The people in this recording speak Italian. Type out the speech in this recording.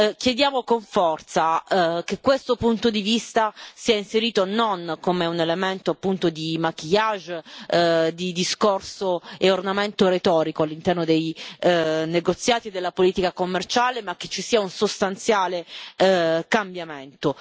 Chiediamo con forza che questo punto di vista sia inserito non come un elemento di maquillage di discorso e ornamento retorico all'interno dei negoziati della politica commerciale, ma che ci sia un sostanziale cambiamento.